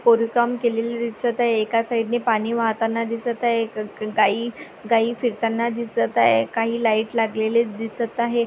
कोरीवकाम केलेले दिसत आहे. एका साइड नी पाणी वाहताना दिसत आहे. क क ग गाई गाई फिरताना दिसत आहे. काही लाइट लागलेले दिसत आहे.